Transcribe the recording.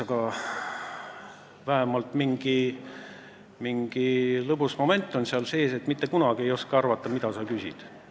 Aga vähemalt on mingi lõbus moment sees, sest ma ei oska mitte kunagi arvata, mis sa küsid.